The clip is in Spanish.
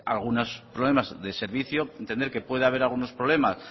algunos problemas de servicio entender que puede haber algunos problemas